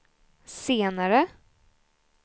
senare